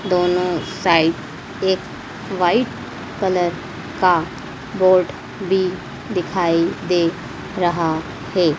दोनों साइड एक white colour का बोर्ड भी दिखाई दे रहा है।